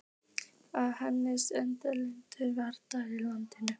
Að henni standa engar valdaklíkur í landinu.